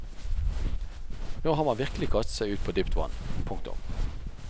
Nå har man virkelig kastet seg ut på dypt vann. punktum